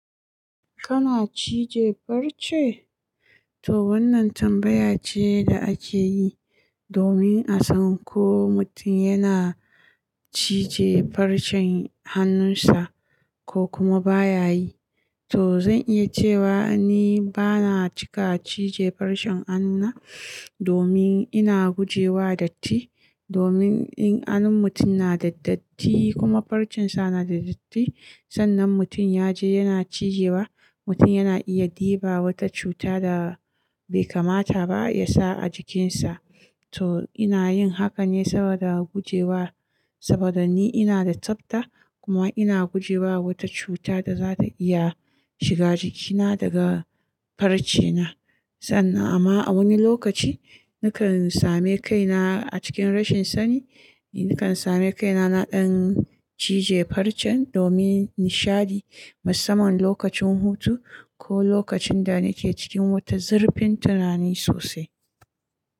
Kana cije farce? To wannan tambaya ce da ake yi domin a san ko mutum yana cije farcen hannunsa ko kuma ba ya yi. To zan iya cewa ni ba na cika cije farcen hannuna domin ina guje wa datti. Domin in hannun mutum na da datti kuma farcen sa na da datti, sannan mutum ya je yana cijewa, mutum yana iya ɗiba wata cuta da bai kamata ba ya sa a jikinsa. To ina yin hakan ne saboda guje wa, saboda ni ina da tsafta kuma ina guje wa wata cuta da za ta iya shiga jikina daga farcena. Sannan amma a wani lokaci nakan same kaina a cikin rashin sani, nakan same kaina na ɗan cije farcen domin nishaɗi, musamman lokacin hutu ko lokacin da nake cikin wata zurfin tunani sosai.